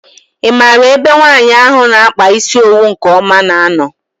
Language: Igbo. I maara ebe nwaanyị ahụ na -akpa isi owu nke ọma na -ano?